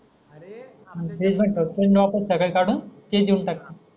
आणि ते फ्रीजमध्ये ठेवतं सगळं काढून ते देऊन टाकते.